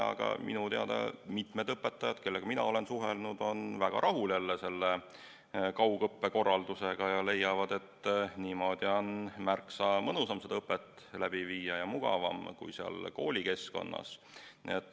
Aga mitu õpetajat, kellega mina olen suhelnud, on jälle väga rahul selle kaugõppe korraldusega ja leiavad, et niimoodi on märksa mõnusam õpet läbi viia ja nii on mugavam kui koolikeskkonnas.